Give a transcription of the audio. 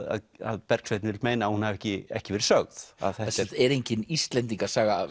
að Bergsveinn vill meina að hún hafi ekki ekki verið sögð það er engin Íslendingasaga